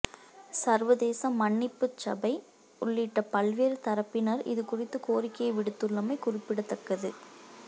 சர்வதேச மன்னிப்புச் சபை உள்ளிட்ட பல்வேறு தரப்பினர் இது குறித்து கோரிக்கையை விடுத்துள்ளமை குறிப்பிடத்தக்கது